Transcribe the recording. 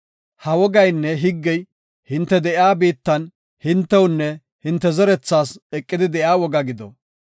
“Ha wogaynne higgey hinte de7iya biittan hintewunne hinte zerethaas eqidi de7iya woga gido.